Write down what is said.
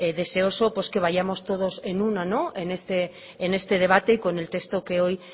deseoso que vayamos todos en uno en este debate y con el texto que hoy